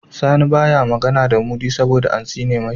Sani baya magAna da mudi saboda an tsine mai